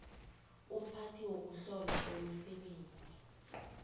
umphathi wokuhlolwa kwemisebenzi